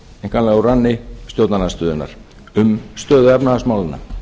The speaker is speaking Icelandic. einkanlega úr ranni stjórnarandstöðunnar um stöðu efnahagsmálanna